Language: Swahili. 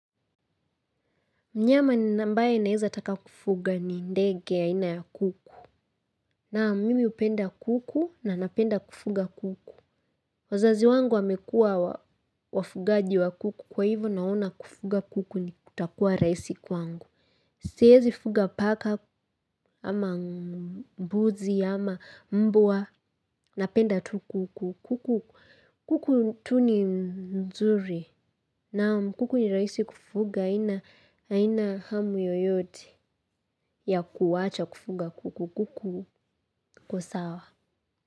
Mnyama ambaye naweza taka kufuga ni ndege aina ya kuku. Naam mimi hupenda kuku na napenda kufuga kuku. Wazazi wangu wamekua wafugaji wa kuku kwa hivyo naona kufuga kuku kutakuwa rahisi kwangu. Siwezi fuga paka ama mbuzi ama mbwa napenda tu kuku. Kuku kuku tu ni mzuri. Naam kuku ni rahisi kufuga haina haina hamu yoyote ya kuwacha kufuga kuku wako sawa.